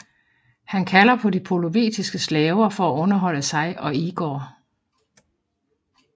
Han kalder på de polovetiske slaver for at underholde sig og Igor